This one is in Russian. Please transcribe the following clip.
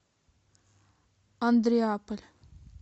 андреаполь